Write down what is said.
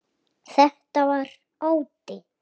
Þetta var ótti.